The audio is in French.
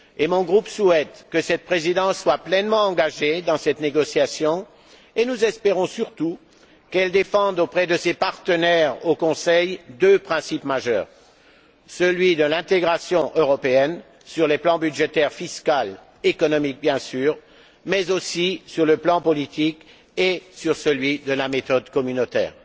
Mon groupe souhaite que cette Présidence soit pleinement engagée dans cette négociation et surtout qu'elle défende auprès de ses partenaires au Conseil deux principes majeurs, celui de l'intégration européenne sur les plans budgétaire fiscal et économique, bien sûr, mais aussi sur le plan politique et sur celui de la méthode communautaire.